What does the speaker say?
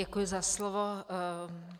Děkuji za slovo.